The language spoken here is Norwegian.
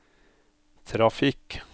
trafikk